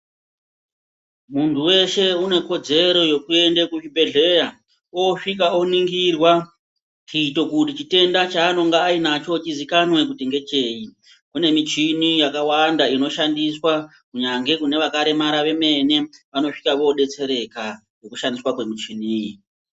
Muntu weshe unekodzero yekuende kuzvibhedhleya oosvika oningirwa kuito kuti chitenda chaanenge ainacho chizikanwe kuti ngechei. Kune michini yakawanda inoshandiswa, kunyangwe vakaremara vanosvika voodetsereka ngekushandiswa kwemichini iyi.